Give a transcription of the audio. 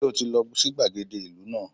Sé o ti lo sí gbàgede ìlú náà